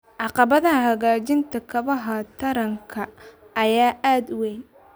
Caqabadaha hagaajinta kaabayaasha taranka ayaa aad u weyn.